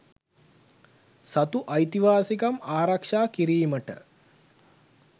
සතු අයිතිවාසිකම් ආරක්ෂා කිරීමට